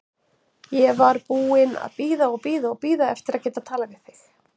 Ég var búin að bíða og bíða og bíða eftir að geta talað við þig.